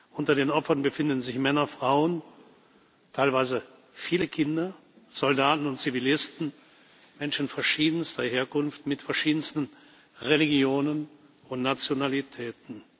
Unter den Opfern befinden sich Männer, Frauen, teilweise viele Kinder, Soldaten und Zivilisten, Menschen verschiedenster Herkunft, mit verschiedensten Religionen und Nationalitäten.